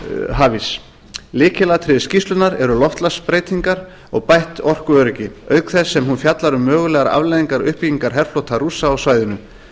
hafíss lykilatriði skýrslunnar eru loftslagsbreytingar og bætt orkuöryggi auk þess sem hún fjallar um mögulegar afleiðingar uppbyggingar herflota rússa á svæðinu